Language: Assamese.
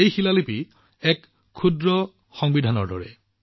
এই শিলআদেশটো এখন ক্ষুদ্ৰ সংবিধানৰ দৰে